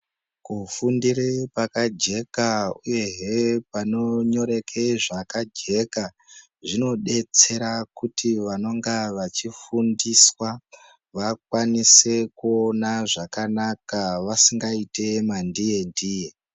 Kufundire pakajeka uyehe panonyoreke zvakajeka zvinobetsera kuti vanonga vachifundiswa vakwanise kuona zvakanaka vasingaite mandiye ndiye.